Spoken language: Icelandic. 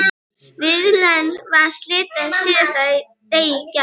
Viðræðunum var slitið síðdegis í gær